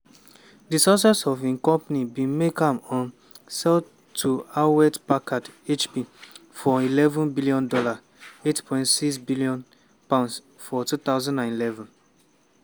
dis success of im company bin make am um sell to hewlett-packard (hp) for $11bn (£8.6bn) for 2011.